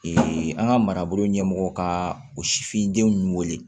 an ka marabolo ɲɛmɔgɔ ka o sifindenw wele